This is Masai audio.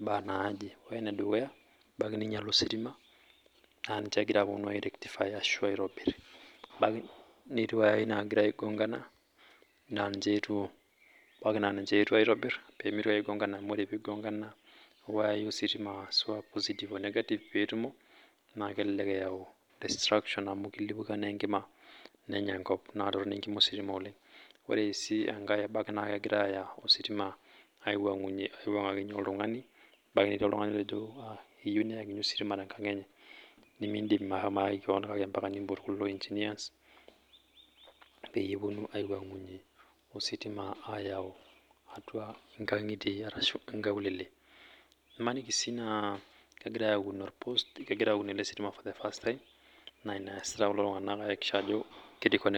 mbaa naaje ,ore enedukuya ebaiki ninyele ositima naa ninye egira aponu airektify ashu aitobir ebaiki netii wayai nagira aigongana, ebaiki naa niche eetuo aitobir amu abaiki naa ore pee eigongana wayai ositima ashua negative o positive pee etumo naa kelelek eyau distraction amu kilipuka naa enkima nenya enkop naa kitoronok enkima ositima oleng. Ore enkae naa ebaiki sii naa kegirae aya ositima aipangakinyei oltungani, ebaiki netii oltungani otejo ebaiki neyieu neyakini osima tenkang enye nimindim ashomo ayaki koon kake mpaka nimpot kulo engineers peyie eponu aipangunyie ositima ayau atua nkangitie ashu nakulele .Msaniki sii aa kegirae aun ele sitimani for the first time naa ina egira kulo tunganak aiakikisha.